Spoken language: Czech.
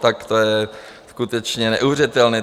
Tak to je skutečně neuvěřitelné.